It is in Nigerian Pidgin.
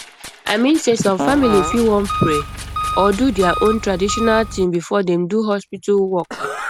i mean sey some family fit wan pray or do their own traditional thing before dem do hospital work